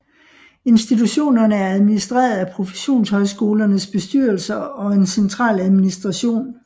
Institutionerne er administreret af professionshøjskolernes bestyrelser og en central administration